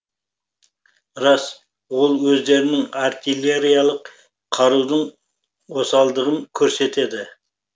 рас ол өздерінің артиллериялық қарудың осалдығын көрсетеді